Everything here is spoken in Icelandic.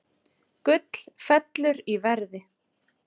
Gull fellur í verði